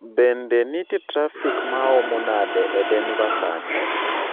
Bende nitie trafik maomo nade e Denver sani?